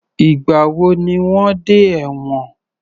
Ìgbà wo ni wọ́n dẹ́ ẹ̀wòn?